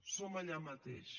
som allà mateix